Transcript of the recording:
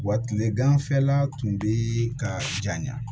Wa kile ganfɛla tun bɛ ka janya